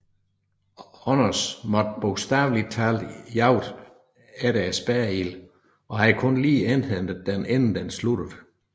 Honners måtte bogstavelig talt jagte efter spærreilden og havde kun lige indhentet den inden den sluttede